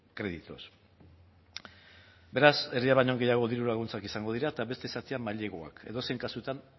créditos beraz erdia baino gehiago diru laguntzak izango dira eta beste zatia maileguak edozein kasutan